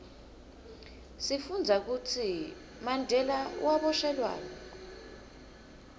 sifundza kutsi mandela waboshelwani